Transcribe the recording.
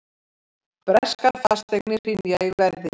Breskar fasteignir hrynja í verði